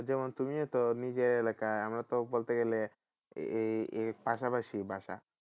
যেমন তুমিও তো নিজের এলাকায় আমরা তো বলতে গেলে পাশাপাশি বাসা